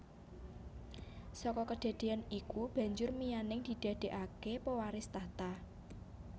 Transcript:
Saka kedadéyan iku banjur Mianning didadekake pewaris tahta